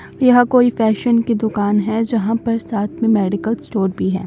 यह कोई फैशन की दुकान है जहां पर साथ में मेडिकल स्टोर भी है।